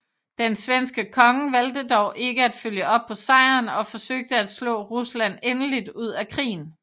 Den svenske konge valgte dog ikke at følge op på sejren og forsøge at slå Rusland endeligt ud af krigen